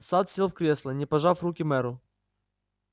сатт сел в кресло не пожав руки мэру